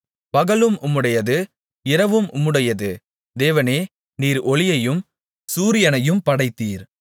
பகலும் உம்முடையது இரவும் உம்முடையது தேவனே நீர் ஒளியையும் சூரியனையும் படைத்தீர்